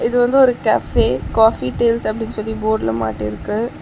இது வந்து ஒரு கேஃபே காஃபி டேல்ஸ் அப்டின்னு சொல்லி போர்டுல மாட்டிருக்கு.